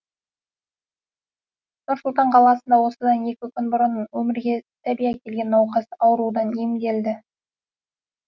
нұр сұлтан қаласында осыдан екі күн бұрын өмірге сәби әкелген науқас аурудан емделді